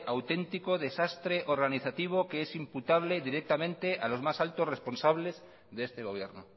auténtico desastre organizativo que es imputable directamente a los más altos responsables de este gobierno